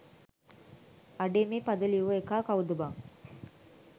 අඩේ මේ පද ලිව්ව එකා කව්ද බං